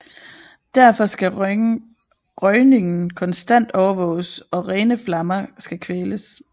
Derfor skal røgningen konstant overvåges og rene flammer skal kvæles